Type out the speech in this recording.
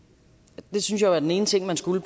det synes jeg jo er den ene ting man skulle